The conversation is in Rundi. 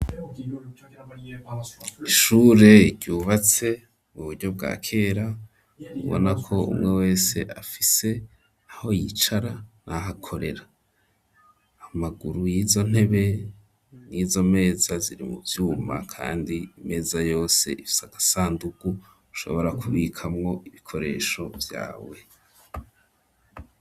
Ishure ryubatse mu buryo bwakera ubona ko umwe wese afise aho yicara n’ahakorera, amaguru yizo ntebe nizo meza ziri mu vyuma kandi imeza yose ifise agasanduku ushobora kubikamwo ibikoresho vyawe.